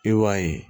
I b'a ye